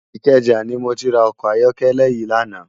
Ikeja ni mó ti rá òkò àyòkèlè yi làná